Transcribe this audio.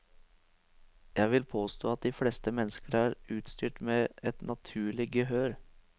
Jeg vil påstå at de fleste mennesker er utstyrt med et naturlig gehør.